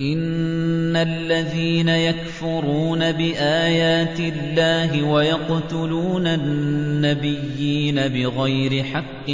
إِنَّ الَّذِينَ يَكْفُرُونَ بِآيَاتِ اللَّهِ وَيَقْتُلُونَ النَّبِيِّينَ بِغَيْرِ حَقٍّ